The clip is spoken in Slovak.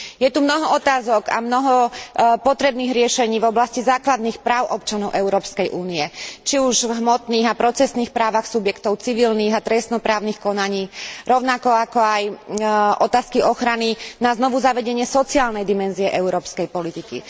Je tu mnoho otázok a mnoho potrebných riešení v oblasti základných práv občanov Európskej únie, či už v hmotných a procesných právach subjektov civilných a trestno právnych konaní, rovnako ako aj otázky ochrany na znovuzavedenie sociálnej dimenzie európskej politiky.